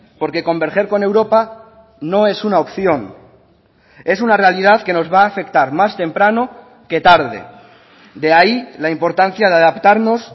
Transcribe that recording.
porque converger con europa no es una opción es una realidad que nos va a afectar más temprano que tarde de ahí la importancia de adaptarnos